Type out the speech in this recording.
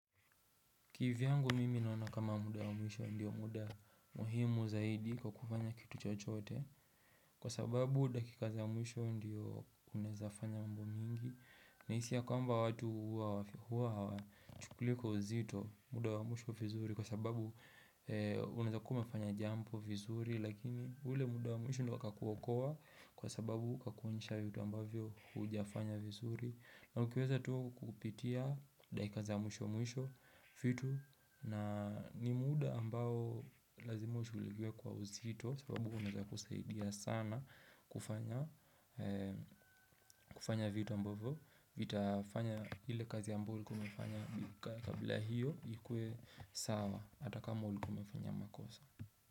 Kivyangu mimi naona kama muda wa mwisho ndiyo muda muhimu zaidi kwa kufanya kitu chochote Kwa sababu dakika za mwisho ndiyo unezafanya mambo mingi Nahisi ya kwamba watu huwa hawa chukuli kwa uzito muda wa mwisho vizuri Kwa sababu unaeza kuwa umefanya jambo vizuri Lakini ule muda wa mwisho ndio ikakuokoa kwa sababu kakuonysha vitu ambavyo hujafanya vizuri na ukiweza tu kukupitia dakika zi a mwisho mwisho vitu na ni muda ambao lazima ushughulikiwe kwa uzito sababu kunaweza kusaidia sana kufanya vitu ambavyo itafanya ile kazi ambao umefanya kabla hiyo ikue sawa hatakama uli umefanya makosa.